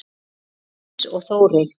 Jens og Þórey.